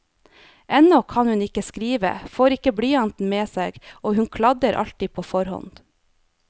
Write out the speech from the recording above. Ennå kan hun ikke skrive, får ikke blyanten med seg, og hun kladder alltid for hånd.